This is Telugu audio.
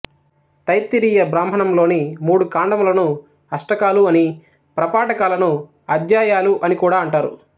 తైత్తిరీయ బ్రాహ్మణంలోని మూడు కాండములను అష్టకాలు అని ప్రపాఠకాలని అధ్యాయాలు అని కూడా అంటారు